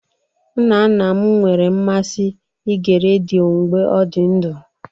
Nna nna m nwere mmasị ige redio mgbe ọ dị ndụ